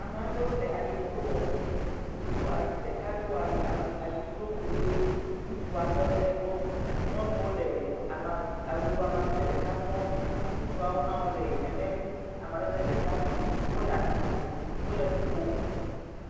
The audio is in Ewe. Ame aɖewo le ayifro woƒe. Ɖeka do ayifro wu ɣie. Ŋutsua tɔ ɖe egbɔ. Nyɔnuwo le awu amadede ɖe sɔ̃me. Ŋutsuwo sɔ̃ha le nenem amedede ɖeka me. Wòle atsitre, wòle nuƒom.